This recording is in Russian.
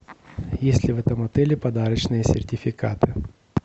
есть ли в этом отеле подарочные сертификаты